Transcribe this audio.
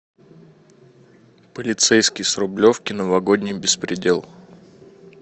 полицейский с рублевки новогодний беспредел